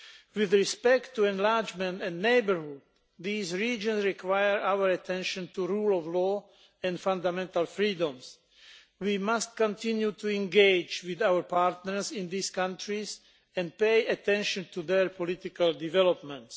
With respect to enlargement and neighbourhood, these regions require that we focus our attention on the rule of law and fundamental freedoms. We must continue to engage with our partners in these countries and pay attention to their political developments.